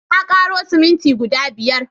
Na ƙaro siminti guda biyar